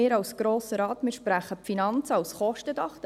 Wir als Grosser Rat sprechen die Finanzen als Kostendach.